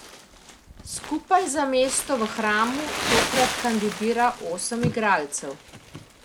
Skupaj za mesto v hramu tokrat kandidira osem igralcev.